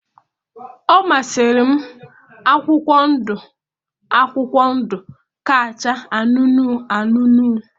Ọ masịrị m akwụkwọ ndụ akwụkwọ ndụ ka acha anụnụ anụnụ